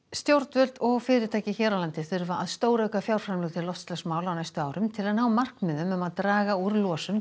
stjórnvöld og fyrirtæki hér á landi þurfa að stórauka fjárframlög til loftslagsmála á næstu árum til að ná markmiðum um að draga úr losun